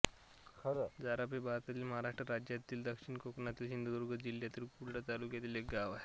झारप हे भारतातील महाराष्ट्र राज्यातील दक्षिण कोकणातील सिंधुदुर्ग जिल्ह्यातील कुडाळ तालुक्यातील एक गाव आहे